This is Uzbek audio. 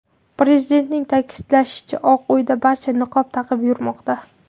Prezidentning ta’kidlashicha, Oq uyda barcha niqob taqib yurmoqda.